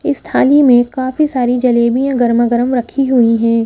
इस थाली में काफी सारी जलेबियां गरमागरम रखी हुई हैं ।